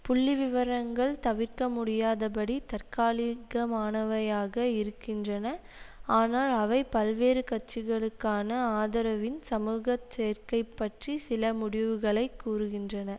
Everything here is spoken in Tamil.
புள்ளிவிவரங்கள் தவிர்க்க முடியாதபடி தற்காலிகமானவையாக இருக்கின்றன ஆனால் அவை பல்வேறு கட்சிகளுக்கான ஆதரவின் சமூக சேர்க்கை பற்றி சில முடிவுகளை கூறுகின்றன